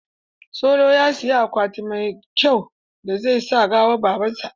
Solo ya siyi akwati mai kyau da zai sa gawan baban sa.